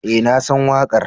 Eh nasan wakar.